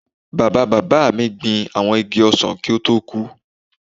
Bàbáa bàbá mi gbin àwọn igi ọsàn kí ó tó kú